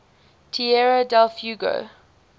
tierra del fuego